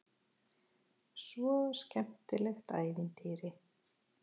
Svo skemmtilegt ævintýri.